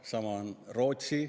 Sama on teinud Rootsi.